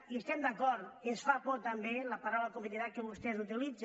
i hi estem d’acord ens fa por també la paraula competitivitat que vostès utilitzen